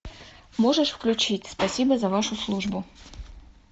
можешь включить спасибо за вашу службу